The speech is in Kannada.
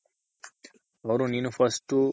ಅವ್ರು ನೀನು first